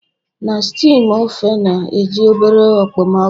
Na steamed ofe na-eji obere okpomọkụ